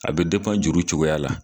A be depan juru cogoya la